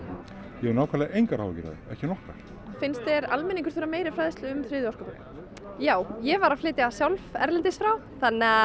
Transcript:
ég hef nákvæmlega engar áhyggjur af því ekki nokkrar finnst þér almenningur þurfa meiri fræðslu um orkupakkann já ég var að flytja sjálf erlendis frá þannig